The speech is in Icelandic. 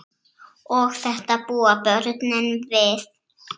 Og þetta búa börnin við.